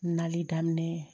Nali daminɛ